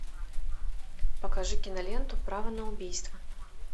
покажи киноленту право на убийство